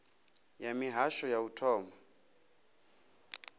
ya mihasho ya u thoma